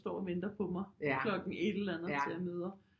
Står og venter på mig klokken et eller andet til jeg møder